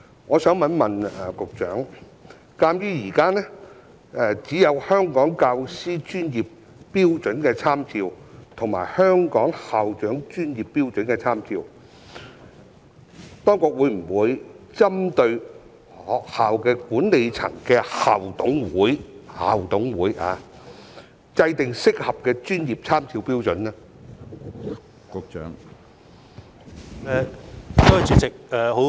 我想請問局長，鑒於現時只有《香港教師專業標準參照》和《香港校長專業標準參照》，當局會否針對學校管理層的校董會——是校董會——制訂適合的專業參照標準呢？